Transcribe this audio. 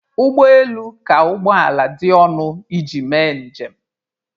Ụgbọ elu ka ụgbọ ala dị ọnụ iji mee njem.